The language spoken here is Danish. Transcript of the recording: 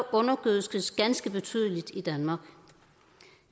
undergødskes ganske betydeligt i danmark